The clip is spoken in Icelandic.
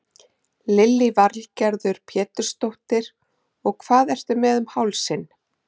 Lillý Valgerður Pétursdóttir: Og hvað ertu með um hálsinn?